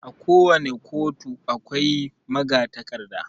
A ko wani ƙotu akwai magatakarda